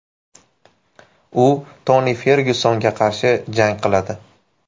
U Toni Fergyusonga qarshi jang qiladi.